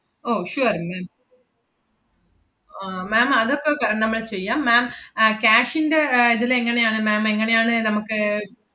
ഓ sure ma'am ആഹ് ma'am അതക്കെ ക~ നമ്മള് ചെയ്യാം ma'am അഹ് cash ന്‍റെ ഏർ ഇതിലെങ്ങനെയാണ് ma'am എങ്ങനെയാണ് നമ്മക്ക്